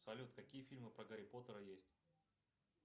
салют какие фильмы про гарри поттера есть